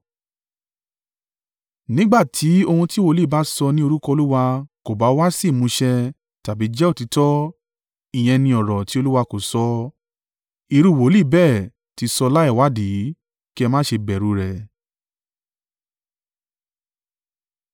Nígbà tí ohun tí wòlíì bá sọ ní orúkọ Olúwa kò bá wá sí ìmúṣẹ tàbí jẹ́ òtítọ́, ìyẹn ni ọ̀rọ̀ tí Olúwa kò sọ, irú wòlíì bẹ́ẹ̀ tí sọ láìwádìí. Kí ẹ má ṣe bẹ̀rù rẹ̀.